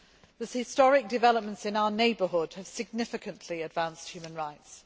The historic developments in our neighbourhood have significantly advanced human rights.